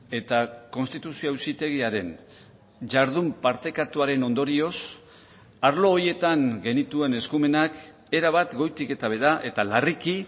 eta konstituzio auzitegiaren jardun partekatuaren ondorioz arlo horietan genituen eskumenak erabat goitik eta behera eta larriki